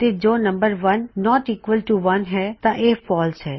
ਤੇ ਜੇ ਨੰਮ1 ਨੌਟ ਈਕਵਲ ਟੂ 1 ਹੈ ਤਾਂ ਇਹ ਫਾਲਸ ਹੈ